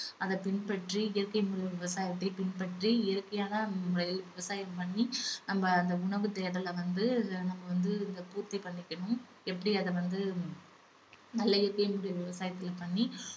அத பின்பற்றி இயற்கை முறை விவசாயத்தை பின்பற்றி இயற்கையான வழியில விவசாயம் பண்ணி நம்ம அந்த உணவு தேடல வந்து நம்ம வந்து பூர்த்தி பண்ணிக்கணும் எப்படி அத வந்து நல்ல இயற்கை முறை விவசாயத்துல பண்ணி